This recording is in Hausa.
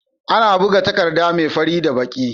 Ana buga takadda me fari da baki